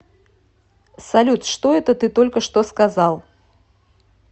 салют что это ты только что сказал